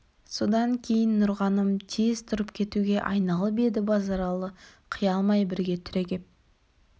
содан кейін нұрғаным тез тұрып кетуге айналып еді базаралы қия алмай бірге түрегеп